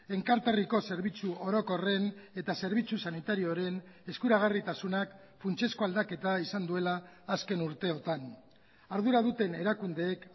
enkarterriko zerbitzu orokorren eta zerbitzu sanitarioaren eskuragarritasunak funtsezko aldaketa izan duela azken urteotan ardura duten erakundeek